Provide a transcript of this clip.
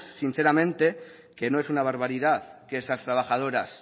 sinceramente que no es una barbaridad que esas trabajadoras